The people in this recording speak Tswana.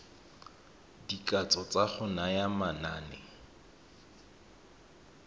dikatso tsa go naya manane